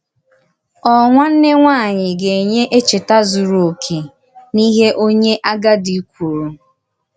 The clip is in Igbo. Ọ̀ nwànnè nwáànyị gà-ènýè èchètà zùrù òkè n’íhè onye àgádì kwùrù?